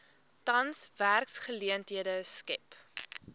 tans werksgeleenthede skep